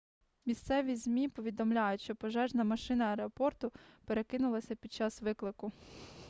місцеві змі повідомляють що пожежна машина аеропорту перекинулася під час виклику